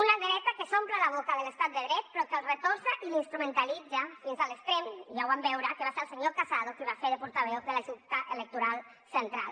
una dreta que s’omple la boca de l’estat de dret però que el retorça i l’instrumentalitza fins a l’extrem i ja ho vam veure que va ser el senyor casado qui va fer de portaveu de la junta electoral central